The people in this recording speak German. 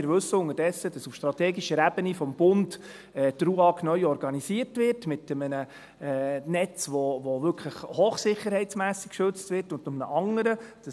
Wir wissen unterdessen, dass die Ruag auf strategischer Ebene vom Bund neu organisiert wird, mit einem Netz, welches hochsicherheitsmässig geschützt wird, und einem anderen Netz;